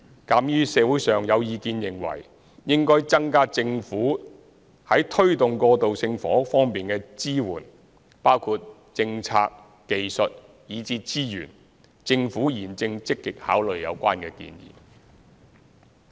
鑒於社會上有意見認為應增加政府在推動過渡性房屋方面的支援，包括政策、技術以至資源，政府現正積極考慮有關建議。